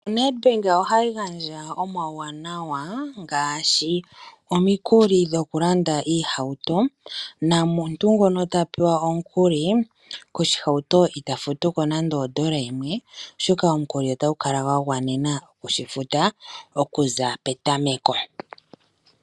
Nedbank ohayi gandja omauwanawa ngaashi omikuli dhokulanda iihauto nomuntu ngono ta pewa omukuli koshihauto ita futu ko nande ondola yimwe oshoka omukuli otagu kala gwa gwanena oshifuta okuza petameko.